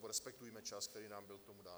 respektujme čas, který nám byl k tomu dán.